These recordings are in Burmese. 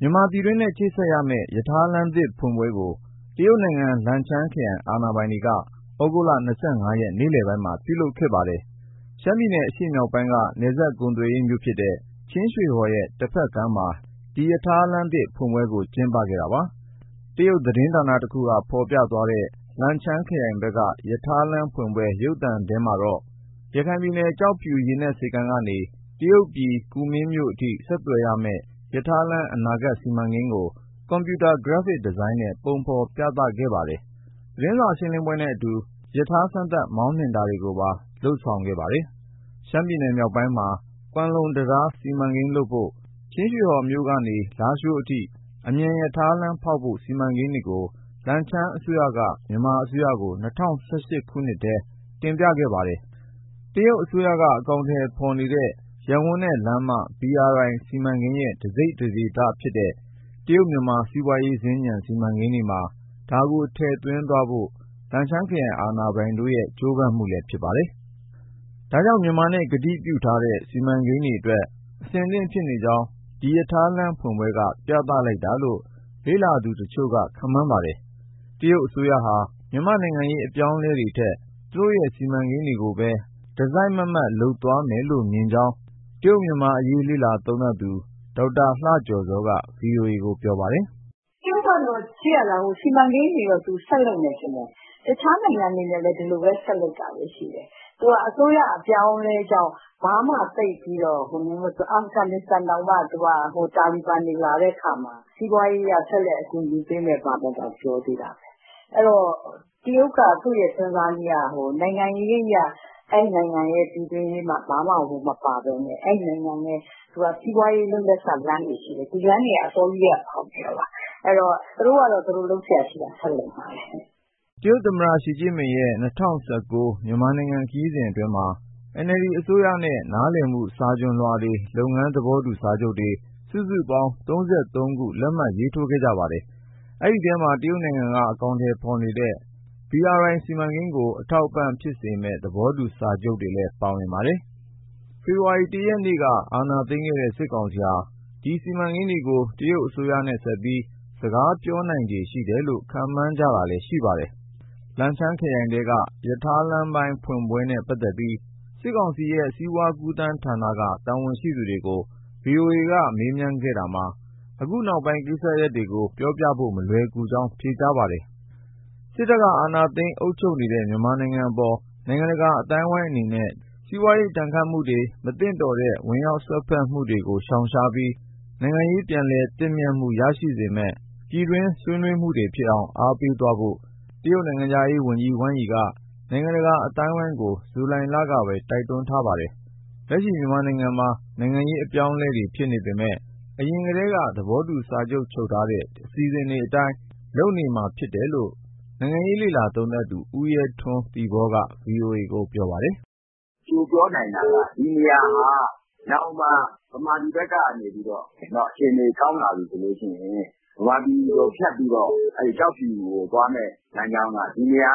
မြန်မာပြည်တွင်းနဲ့ ချိတ်ဆက်မယ့် ရထားလမ်းသစ်ဖွင့်ပွဲကို တရုတ်နိုင်ငံ လင်ချမ်းခရိုင် (Lincang) အာဏာပိုင်တွေက ဩဂုတ်လ ၂၅ ရက် နေ့လည်ပိုင်းမှာ ပြုလုပ်ခဲ့ပါတယ်။ မြန်မာနိုင်ငံ ရှမ်းပြည်နယ် အရှေ့မြောက်ပိုင်းက နယ်စပ်ကုန်သွယ်ရေး မြို့တခုဖြစ်တဲ့ ချင်းရွှေဟော်ရဲ့ တဖက်ကမ်းမှာ ဒီရထားလမ်းသစ် ဖွင့်ပွဲကို ကျင်းပခဲ့တာပါ။ တရုတ်သတင်းဌာန တခုက ဖော်ပြသွားတဲ့ လင်ချမ်းခရိုင်ဘက်က ရထားလမ်းဖွင့်ပွဲ ရုပ်သံ သတင်းထဲမှာ ရခိုင်ပြည်နယ်၊ ကျောက်ဖြူ ရေနက်ဆိပ်ကမ်းကနေ တရုတ်ပြည်ကူမင်းမြို့အထိ ဆက်သွယ်မယ့် ရထားလမ်းရဲ့ အနာဂတ်စီမံကိန်းကို ကွန်ပျူတာ ဂရပ်ဖစ်ဒီဇိုင်းနဲ့ ပုံဖော်ပြသခဲ့ပါတယ်။ သတင်းစာ ရှင်းလင်းပွဲနဲ့အတူ ရထား စမ်းသပ်မောင်းနှင်တာတွေပါ လုပ်ဆောင်ခဲ့ပါတယ်။ ရှမ်းပြည်မြောက်ပိုင်းမှာ ကွမ်လုံ တံတားစီမံကိန်းလုပ်ဖို့၊ ချင်းရွှေဟော်မြို့ကနေ လားရှိုးအထိ အမြန်ရထားလမ်းဖောက်ဖို့ စီမံကိန်းတွေကို လင်ချမ်းအစိုးရက မြန်မာအစိုးရကို ၂၀၁၈ ထဲမှာ တင်ပြခဲ့တာပါ။ တရုတ်အစိုးရ အကောင်အထည်ဖော်နေတဲ့ ရပ်ဝန်းနဲ့လမ်းမ BRI စီမံကိန်းရဲ့ တစိတ်တဒေသဖြစ်တဲ့တရုတ်-မြန်မာစီးပွားရေးစင်္ကြန် စီမံကိန်းတွေမှာ ဒါကိုထည့်သွင်းသွားဖို့ လင်ချမ်းခရိုင် အာဏာပိုင်တွေရဲ့ ကြိုးပမ်းမှုလည်းဖြစ်ပါတယ်။ ဒါကြောင့် မြန်မာနဲ့ကတိပြုထားတဲ့ စီမံကိန်းတွေအတွက် အဆင်သင့်ဖြစ်နေကြောင်း ဒီရထားလမ်းဖွင့်ပွဲက ပြသလိုက်တာလို့ လေ့လာသူတချို့က ခန့်မှန်းပါတယ်။ တရုတ်အစိုးရဟာ မြန်မာ့နိုင်ငံရေး အပြောင်းအလဲတွေထက် သူရဲ့စီမံကိန်းတွေကိုပဲ တစိုက်မတ်မတ် လုပ်သွားလိမ့်မယ်လို့မြင်ကြောင်း တရုတ်-မြန်မာအရေး လေ့လာသုံးသပ်သူ ဒေါက်တာလှကျော်ဇောက ဗွီအိုအေကို ပြောပါတယ်။ “ တရုတ်ကတော့ ကြည့်ရတာသူ စီမံကိန်းတွေတော့ ဆက်လုပ်မယ်ထင်တယ်။ တခြားနိုင်ငံတွေနဲ့လည်း ဒီလိုပဲဆက်လုပ်တာပဲရှိတယ်။ သူကအစိုးရ အပြောင်းအလဲကြောင့် ဘာမှသိပ်ပြီးတော့၊ အာဖဂန်နစ္စတန်တောင်မှ သူက တာလီဘန်တွေ လာတဲ့အခါမှာ စီးပွားရေးအရ ဆက်လက် အကူအညီပေးမယ်တောင် ပြောသေးတာပဲ။ အဲဒီတော့ တရုတ်က သူ့ရဲ့စဉ်းစားနည်းက နိုင်ငံရေးအရ အဲဒီနိုင်ငံရဲ့ ပြည်တွင်းအရေးမှာ ဘာမှဝင်မပါဘဲနဲ့ အဲဒီနိုင်ငံနဲ့ သူကစီးပွားရေး လုပ်လက်စလမ်းတွေရှိတယ်၊၊ ဒီလမ်းတွေက အစောကြီးကတည်းက ဖောက်နေတာပါ။ အဲဒီတော့ သူတို့က သူတို့လုပ်စရာရှိတာ ဆက်လုပ်မှာပဲ။” တရုတ်သမ္မတ ရှီကျင့်ပင်ရဲ့ ၂၀၁၉ မြန်မာနိုင်ငံခရီးစဉ်အတွင်းမှာ NLD အစိုးရနဲ့ နားလည်မှု စာချွန်လွှာတွေ၊ လုပ်ငန်းသဘောတူ စာချုပ်တွေ စုစုပေါင်း ၃၃ ခုကို လက်မှတ်ရေးထိုး ခဲ့ပါတယ်။ ဒီအထဲမှာ တရုတ်နိုင်ငံက အကောင်အထည်ဖော်နေတဲ့ ရပ်ဝန်းနဲ့လမ်းမစီမံကိန်း BRI ကို အထောက်အပံ့ဖြစ်စေမယ့် သဘောတူ စာချုပ်တွေလည်း ပါဝင်ပါတယ်။ ဖေဖော်ဝါရီ ၁ ရက်က အာဏာသိမ်းခဲ့တဲ့ စစ်ကောင်စီဟာ ဒီစီမံကိန်းတွေကို တရုတ်အစိုးရနဲ့ဆက်ပြီး စကားပြောနိုင်ခြေရှိတယ်လို့ ခန့်မှန်းကြတာလည်း ရှိပါတယ်။ လင်ချမ်းခရိုင်ထဲက ရထားလမ်းဖွင့်ပွဲနဲ့ပတ်သက်ပြီး စစ်ကောင်စီရဲ့ စီးပွားကူးသန်းဌာနက တာဝန်ရှိသူကို ဗွီအိုအေက မေးမြန်းခဲ့တာမှာ အခုနောက်ပိုင်း ကိစ္စရပ်တွေကို ပြောပြဖို့ မလွယ်ကူကြောင်း ဖြေဆိုခဲ့ပါတယ်။ စစ်တပ်က အာဏာသိမ်းအုပ်ချုပ်နေတဲ့ မြန်မာနိုင်ငံအပေါ် နိုင်ငံတကာ အသိုင်းအဝိုင်းအနေနဲ့ ဒဏ်ခတ်မှုတွေ၊ မသင့်တော်တဲ့ ဝင်ရောက်စွက်ဖက်မှုတွေကို ရှောင်ရှားပြီး နိုင်ငံရေးပြည်လည်သင့်မြတ်မှုရရှိစေမယ့် ပြည်တွင်းဆွေးနွေးမှုတွေဖြစ်အောင် အားပေးဖို့ တရုတ်နိုင်ငံခြားရေးဝန်ကြီး Wang Yi က နိုင်ငံတကာ အသိုင်းအဝိုင်းကို ဇူလိုင်လကပဲ တိုက်တွန်းထားပါတယ်။ လက်ရှိမြန်မာနိုင်ငံမှာ နိုင်ငံရေးအပြောင်းအလဲတွေဖြစ်နေပေမယ့် အရင်ထဲက သဘောတူ စာချုပ်ထားတဲ့ အစီအစဉ်တွေအတိုင်း လုပ်နေမှာဖြစ်တယ်လို့ နိုင်ငံရေးလေ့လာသုံးသပ်သူ ဦးရဲထွန်း(သီပေါ) က ဗွီအိုအေကို ပြောပါတယ်။ “ ပြောနိုင်တာက ဒီနေရာဟာနောင်မှာ ဗမာပြည်ဘက်ကနေ အခြေအနေကောင်းလာပြီဆိုရင် ဗမာပြည်ကိုဖြတ်ပြီးတော့ ကျောက်ဖြူကိုသွားမယ့် လမ်းကြောင်းက ဒီနေရာ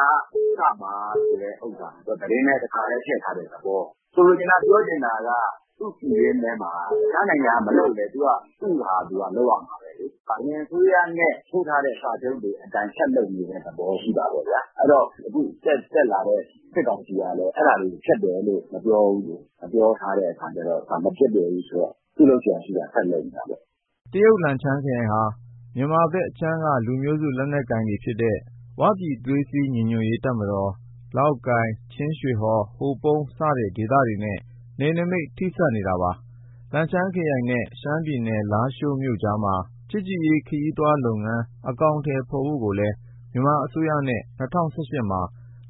ကစမှာဆိုတဲ့ဟာ သူကသတင်းထဲ တခါတည်းထည့်ထားတဲ့သဘော။ ဆိုလိုချင်တာက သူ့ပြည်တွင်းထဲမှာ တခြားနိုင်ငံက မလုပ်လည်း သူ့ဟာသူလုပ်ရမှာပဲလေ။ အရင်အစိုးရနဲ့ ထိုးထားတဲ့စာချုပ်တွေအတိုင်း ဆက်လုပ်နေတဲ့သဘော ရှိတာပေါ့ဗျာ။ အဲဒီတော့ အခုတက်လာတဲ့ စစ်ကောင်စီကလည်း အဲဒါတွေကို ဖျက်တယ်လို့ မပြောဘူးလေ၊ မပြောထားတဲ့အခါကျတော့ မပျက်ပြယ်ဘူးဆိုတော့ သူ့လုပ်စရာရှိတာ ဆက်လုပ်နေတာပေါ့။ ” တရုတ်၊ လင်ချမ်းခရိုင်ဟာဆိုရင် မြန်မာဘက်အခြမ်းက လူမျိုးစု လက်နက်ကိုင်တွေဖြစ်တဲ့ ဝပြည်သွေးစည်းညီညွတ်ရေး တပ်မတော်၊ လောက်ကိုင်၊ ချင်းရွှေဟော်၊ ဟိုပုန်း စတဲ့ဒေသတွေနဲ့ နယ်နိမိတ် ထိဆက်နေပါတယ်။ လင်ချမ်းခရိုင်နဲ့ ရှမ်းပြည်နယ် လားရှိုးမြို့ကြားမှာ ချစ်ကြည်ရေး ခရီးသွားလုပ်ငန်း အကောင်အထည်ဖော်ဖို့ကိုလည်း မြန်မာအစိုးရနဲ့ ၂၀၁၈ မှာ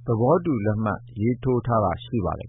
သဘောတူ လက်မှတ် ရေးထိုးခဲ့တာလည်း ရှိပါတယ်